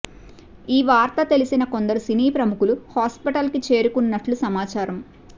ఈ వార్త తెలిసిన కొందరు సినీ ప్రముఖులు హాస్పిటల్ కి చేరుకున్నట్లు సమాచారం